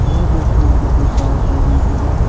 ये तस्वीर किसी कार शोरूम की है।